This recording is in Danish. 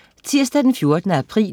Tirsdag den 14. april